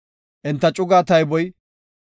Enta cugaa tayboy 62,700.